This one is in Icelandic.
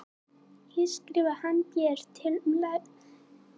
Hér skrifaði hann Bréf til Láru, héðan var aðeins fáein skref að fara niður í